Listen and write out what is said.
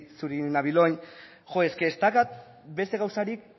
nabil orain ez daukat beste gauzarik